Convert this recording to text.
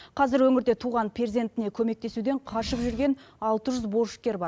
қазір өңірде туған перзентіне көмектесуден қашып жүрген алты жүз борышкер бар